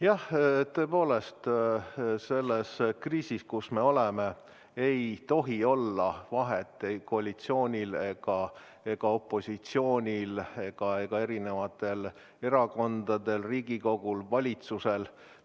Jah, tõepoolest, selles kriisis, kus me oleme, ei tohi olla vahet koalitsioonil ja opositsioonil ega eri erakondadel, Riigikogul ja valitsusel.